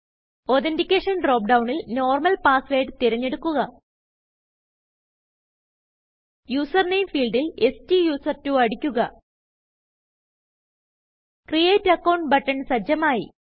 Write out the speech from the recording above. authentication drop ഡൌണിൽ normal passwordതിരഞ്ഞെടുക്കുക user Nameഫീൽഡിൽ സ്റ്റുസെർട്ട്വോ അടിക്കുക ക്രിയേറ്റ് അക്കൌണ്ട് ബട്ടൺ സജ്ജമായി